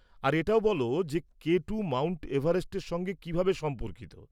আর এটাও বল যে কে টু মাউন্ট এভারেস্টের সঙ্গে কিভাবে সম্পর্কিত।